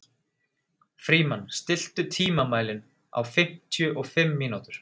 Frímann, stilltu tímamælinn á fimmtíu og fimm mínútur.